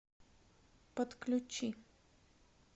подключи